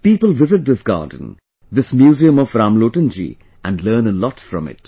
People visit this garden, this museum of Ramlotan ji, and learn a lot from it